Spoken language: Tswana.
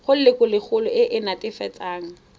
go lelokolegolo e e netefatsang